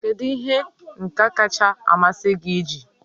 Kedu ihe ihe nka kacha amasị gị iji?